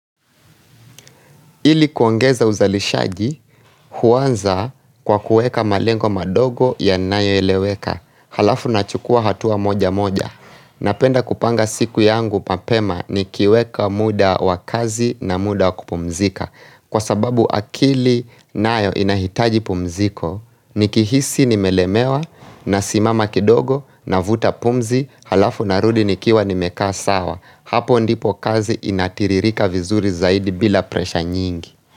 Ili kuongeza uzalishaji, huanza kwa kuweka malengo madogo yanayoeleweka, halafu nachukua hatua moja moja. Napenda kupanga siku yangu mapema nikiweka muda wa kazi na muda wa kupumzika. Kwa sababu akili nayo inahitaji pumziko, nikihisi nimelemewa, nasimama kidogo, navuta pumzi, halafu narudi nikiwa nimekaa sawa. Hapo ndipo kazi inatiririka vizuri zaidi bila presha nyingi.